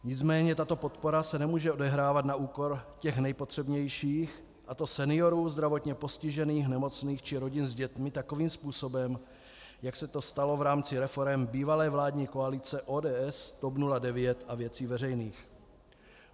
Nicméně tato podpora se nemůže odehrávat na úkor těch nejpotřebnějších, a to seniorů, zdravotně postižených, nemocných či rodin s dětmi, takovým způsobem, jak se to stalo v rámci reforem bývalé vládní koalice ODS, TOP 09 a Věcí veřejných.